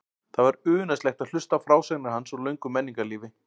Það var unaðslegt að hlusta á frásagnir hans úr löngu menningarlífi.